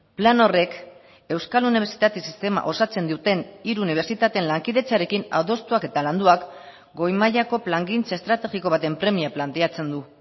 plan horrek euskal unibertsitate sistema osatzen duten hiru unibertsitateen lankidetzarekin adostuak eta landuak goi mailako plangintza estrategiko baten premia planteatzen du